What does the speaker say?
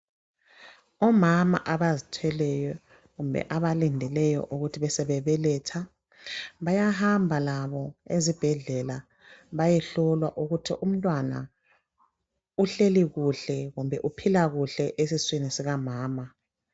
Omama abazithweleyo kumbe abalindeleyo ukuthi besebe beletha, bayahamba labo ezibhedlela bayehlolwa ukuthi umntwana uhleli kuhle kumbe uphila kuhle esiswini sika mama.